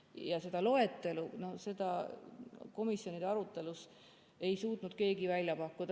Ja seda loetelu ei suutnud keegi komisjoni arutelus välja pakkuda.